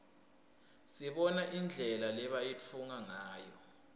sibona indlela lebayitfunga ngayo